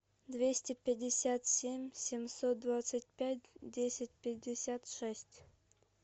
двести пятьдесят семь семьсот двадцать пять десять пятьдесят шесть